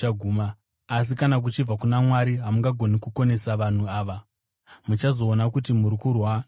Asi kana kuchibva kuna Mwari, hamungagoni kukonesa vanhu ava; muchazoona kuti muri kurwa naMwari.”